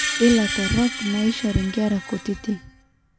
iila torrok- naaishori inkera kutitik